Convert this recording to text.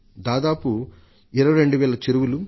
దాదాపు 22 వేల చెరువులలో